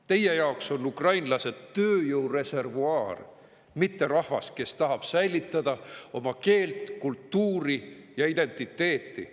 Teie jaoks on ukrainlased tööjõureservuaar, mitte rahvas, kes tahab säilitada oma keelt, kultuuri ja identiteeti.